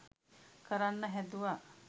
කරන්න හැදුව